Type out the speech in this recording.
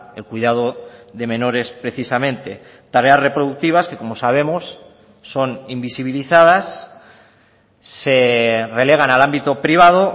el cuidado de menores precisamente tareas reproductivas que como sabemos son invisibilizadas se relegan al ámbito privado